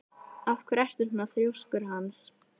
Af hverju ertu svona þrjóskur, Hans?